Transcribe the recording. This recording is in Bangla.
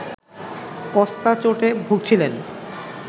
কস্তা চোটে ভুগছিলেন